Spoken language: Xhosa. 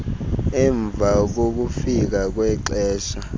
emva kokufika kwexesha